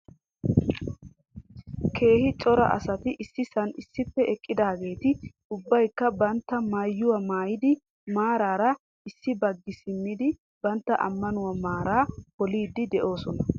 Keehin cora asati issisan issippe eqqidaageeti ubbaykka bootta mayyuwaa maayyidi maarara issi baggi simmidi bantta ammanuwa maaraa pollidi d'oosona .